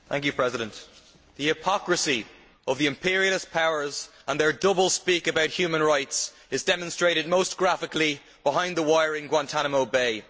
Mr President, the hypocrisy of the imperialist powers and their double speak about human rights is demonstrated most graphically behind the wire in Guantánamo Bay.